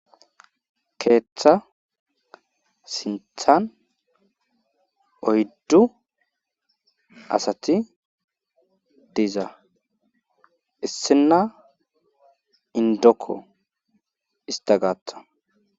Ketha sinthani oydu asati diza , issina indoko ista gathani